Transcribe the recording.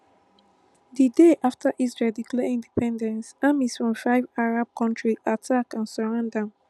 di day afta israel declare independence armies from five arab kontris attack and surround am